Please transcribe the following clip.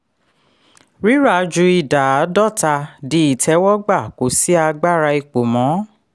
rírà ju ida àádọ́ta di ìtẹwọ́gbà kò sí agbára ìpò mọ́.